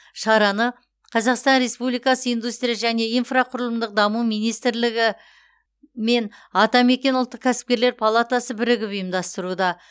шараны қазақстан республикасы индустрия және инфрақұрылымдық даму министрлігі мен атамекен ұлттық кәсіпкерлер палатасы бірігіп ұйымдастыруда